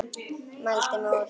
Mældi mig út.